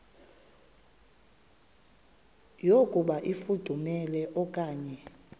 yokuba ifudumele okanye